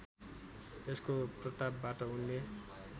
यसको प्रतापबाट उनले